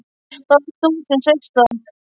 Það varst þú sem sleist það.